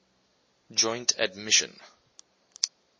joint admission